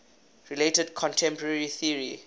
related contemporary theory